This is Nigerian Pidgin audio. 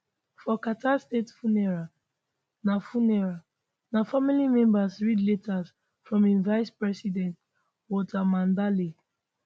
for carter state funeral na funeral na family members read letters from im vicepresident walter mondale